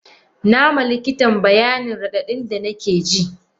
Nama likitan bayanin radadin da nakeji.